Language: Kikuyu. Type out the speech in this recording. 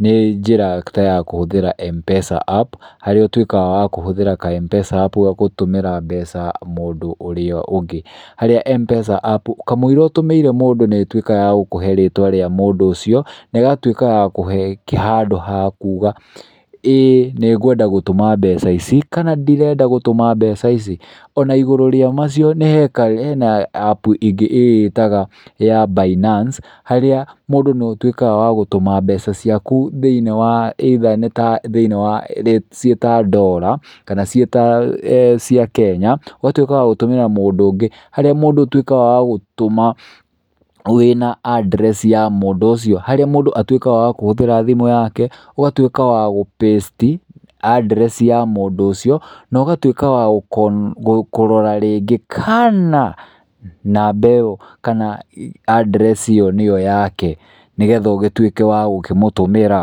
nĩ njĩra ta ya kũhũthĩra Mpesa app harĩa ũtuĩkaga wa kũhũthĩra ka Mpesa app gũtũmĩra mbeca mũndũ ũrĩa ũngĩ. Harĩa Mpesa app kamũira ũtũmĩire mũndũ nĩ ĩtuĩkaga ya gũkũhe rĩtwa rĩa mũndũ ũcio na ĩgatuĩka wa gũkũhe handũ ha kuuga ĩ nĩ ngwenda gũtũma mbeca ici kana ndirenda gũtũma mbeca ici. Ona igũrũ rĩa macio hena app ingĩ ĩyĩtaga ya binance harĩa mũndũ no ũtuĩkaga wa gũtũma mbeca ciaku thĩiniĩ wa ĩitha nĩ ta thĩiniĩ wa ciĩ ta ndora kana ciĩ ta cia Kenya, ũgatuĩka wa gũtũmĩra mũndũ ũngĩ, harĩa mũndũ ũtuĩkaga wa gũtũma wĩna a adress ya mũndũ ũcio. Harĩa mũndũ ahũthagĩra thimũ yake, ũgatuĩka wa gũ paste address ya mũndũ ũcio na ũgatuĩka wa kũrora rĩngĩ kana namba ĩyo kana address nĩyo yake, nĩ getha ũgĩtuĩke wa gũkĩmũtũmĩra.